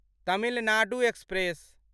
Tamil Nadu express